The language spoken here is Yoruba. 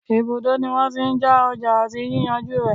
Ibùdó ní wọ́n tí n já ọjà àti yíyànjú rẹ̀.